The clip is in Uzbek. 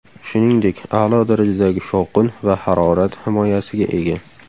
Shuningdek, a’lo darajadagi shovqin va harorat himoyasiga ega.